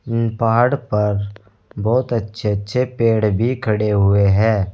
पहाड़ पर बहोत अच्छे अच्छे पेड़ भी खड़े हुए हैं।